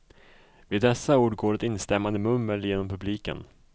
Vid dessa ord går ett instämmande mummel genom publiken.